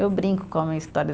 Eu brinco com a minha história.